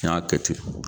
N y'a kɛ ten